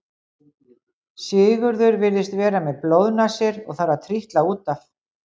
Sigurður virðist vera með blóðnasir og þarf að trítla út af.